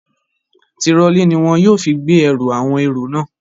Tirọlí ní wọn yóò fi gbé ẹrù àwọn èrò náà.